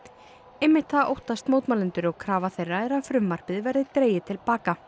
einmitt það óttast mótmælendur og krafa þeirra er að frumvarpið verði dregið til baka